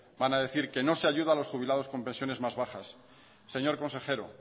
van a decir que no se ayuda a los jubilados con pensiones más bajas señor consejero